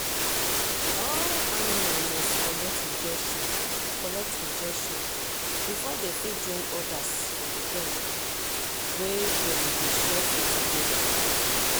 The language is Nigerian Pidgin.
all animal must collect injection collect injection before dem fit join others for the ground wet dem they share food together.